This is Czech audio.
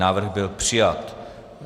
Návrh byl přijat.